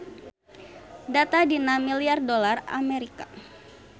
Data dina milyar dolar Amerika.